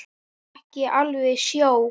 Þá fékk ég alveg sjokk.